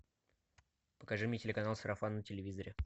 покажи мне телеканал сарафан на телевизоре